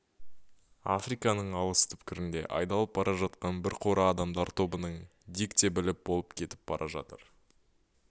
африканың алыс түкпіріне айдалып бара жатқан бір қора адамдар тобының дик те біліп болып кетіп бара жатыр